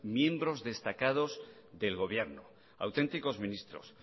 miembros destacados del gobierno auténticos ministros